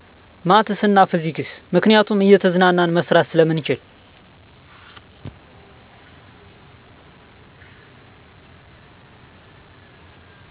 ማትስ እና ፊዝክስ። ምክንያቱም እየተዝናናን መስራት ስለምንችል